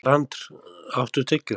Brandr, áttu tyggjó?